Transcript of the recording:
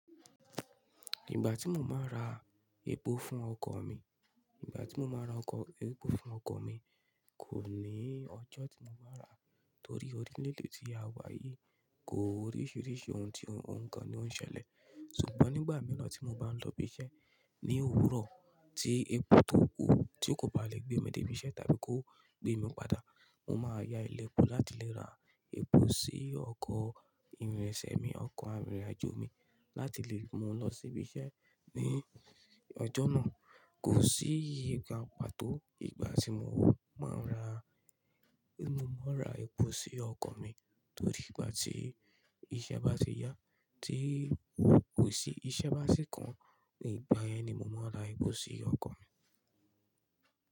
Ìgbà tí mo máa n ra epo fún ọkọ̀ mi, ìgbà tí mo máa n ra ọkọ-- epo fún ọkọ̀ mi, kò ní ọjọ́ tí mo máa n rà á, torí orílẹ̀-èdè tí a wà yìí, kò oríṣiríṣi ohun tí ǹkan ni ó ń ṣẹlẹ̀. Ṣùgbọ́n nígbà mìíràn tí mo bá ń lọ ibi iṣẹ́ ní òwúrọ̀ tí epo tó kù, tí kò bá lè gbé mi dé ibi iṣẹ́ tàbí kó gbé mi padà, mo máa ya ile epo láti lè ra epo sí ọkọ̀ ìrìnsẹ̀ mi, ọkọ̀ arìnrìn-àjò mi láti lè mú u lọ sí ibi iṣẹ́ ní ọjọ́ náà. Kò sí ìgbà pató ìgbà tí mo máa ń ra, mo máa ń ra epo sí ọkọ̀ mi torí ìgbà tí iṣẹ́ bá ti yá tí kò sí, iṣẹ́ bá sì kàn, ní ìgbà yẹn ni mo máa ra epo sí ọkọ̀ mi.